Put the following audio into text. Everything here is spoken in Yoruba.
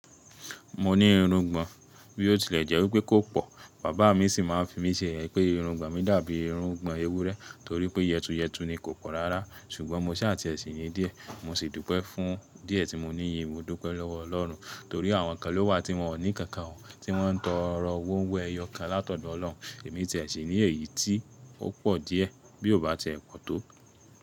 Mo ní irungbọ̀n bí ó tilẹ̀ jẹ́ wípé kò pò, bàbá mi sì máa ń fi mí ṣe yeyè pé irungbọ̀n mi dàbí irungbọ̀n ewúrẹ́ torí pé yẹtùyẹtù ni kò pò rárá ṣùgbọ́n mo ṣaa tiẹ̀ sì ní díẹ̀, mo sì dúpẹ́ fún díẹ̀ tí mo níyii, mo dúpẹ́ lọ́wọ́ ọlọ́run torí àwọn kan ló wà tí wọ́n ò ní nkankan ò, tí wọ́n ń tọrọ hóro ẹ́yọ̀ kan látọ̀dọ̀ Ọlọ́run. Èmi tiẹ̀ sì ní èyí tí ó pò díẹ̀ bí ò bá ti ẹ pọ̀ tó.